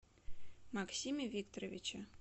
максиме викторовиче